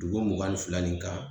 Dugu mugan ni fila nin kan